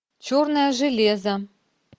черное железо